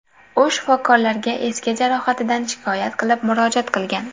U shifokorlarga eski jarohatidan shikoyat qilib, murojaat qilgan.